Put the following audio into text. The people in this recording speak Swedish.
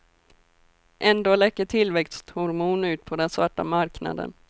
Ändå läcker tillväxthormon ut på den svarta marknaden.